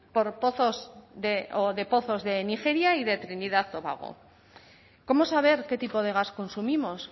de pozos de nigeria y de trinidad tobago cómo saber qué tipo de gas consumimos